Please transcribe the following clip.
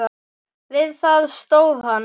Við það stóð hann.